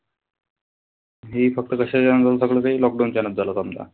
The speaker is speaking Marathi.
हे फक्त कशाच्या ते lockdown च्या नंतरला समजा.